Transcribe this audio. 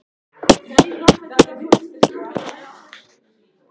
Er eitthvað að frétta Jóhanna?